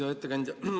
Hea ettekandja!